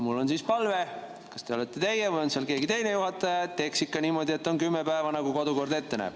Mul on palve, et juhataja – kas see olete teie või on mõni teine juhataja – teeks ikka niimoodi, et on kümme päeva, nagu kodukord ette näeb.